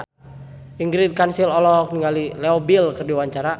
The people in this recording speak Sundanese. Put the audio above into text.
Ingrid Kansil olohok ningali Leo Bill keur diwawancara